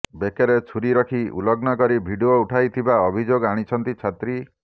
ବେକରେ ଛୁରି ରଖି ଉଲଗ୍ନ କରି ଭିଡିଓ ଉଠାଇ ଥିବା ଅଭିଯୋଗ ଆଣିଛନ୍ତି ଛାତ୍ରୀ